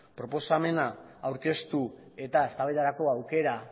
proposamena aurkeztu eta eztabaidarako aukera